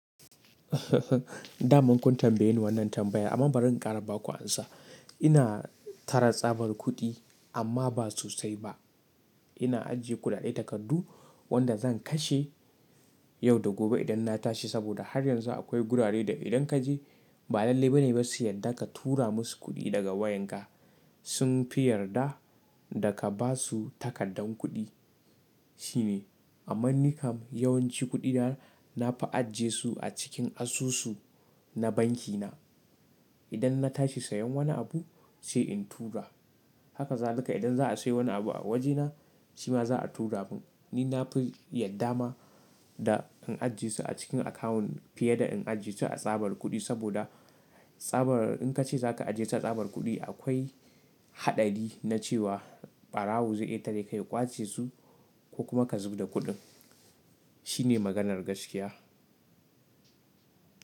Damunkun tambaye ni wannan tambayar amma bari in ƙara ba ku amsa. Ina tara tsabar kuɗi amma ba sosai ba. Ina ajiye kuɗaɗe takardu wanda zan kashe yau da gobe idan na tashi saboda har yanzu akwai gurare da idan ka je ba lalle ba ne basu yadda ka tura musu kuɗi daga wayan ka. Sun fi yarda da ka ba su takardar kuɗi. Shi ne amma nikam yawanci kuɗi na, na fi ajje su a cikin asusu na banki na. Idan na tashi sayan wani abu sai in tura. Haka za luka idan za a sayi wani abu a wajena shi ma za a tura mun. Ni na fi yadda ma da in ajje su a cikin akawun fiye da in ajje su a tsabar kuɗi saboda tsabar in ka ce za ka ajje ta tsabar kuɗi akwai haɗari na cewa ɓarawo zai iya tareka ya ƙwace su ko kuma ka zub da kuɗin. Shi ne maganar gaskiya.